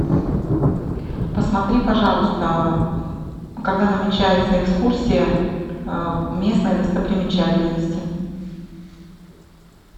посмотри пожалуйста когда намечается экскурсия местные достопримечательности